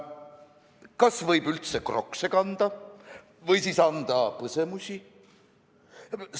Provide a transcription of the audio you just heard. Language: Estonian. Kas võib üldse Crockse kanda või siis anda põsemusi?